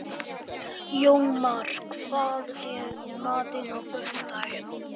Jómar, hvað er í matinn á föstudaginn?